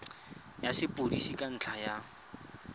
ya sepodisi ka ntlha ya